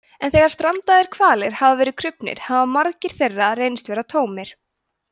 en þegar strandaðir hvalir hafa verið krufnir hafa magar þeirra reynst vera tómir